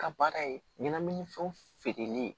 Ka baara ye ɲɛnaminimafɛnw feereli ye